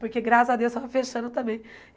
Porque graças a Deus eu estava fechando também.